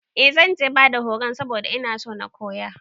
Eh zanje bada horun saboda inason na koya